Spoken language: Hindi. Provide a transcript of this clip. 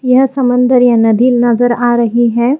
यह समंदर या नदी नजर आ रही है।